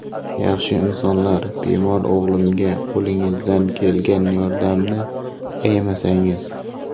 Yaxshi insonlar, bemor o‘g‘limga qo‘lingizdan kelgan yordamni ayamasangiz.